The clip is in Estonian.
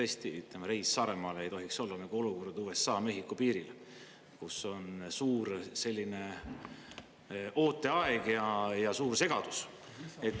Tõesti, ütleme, reis Saaremaale ei tohiks olla nagu olukord USA-Mehhiko piiril, kus on suur ooteaeg ja suur segadus.